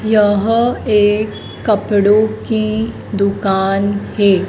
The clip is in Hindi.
यह एक कपड़ों की दुकान है।